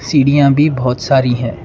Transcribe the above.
सीढ़ियां भी बहुत सारी है।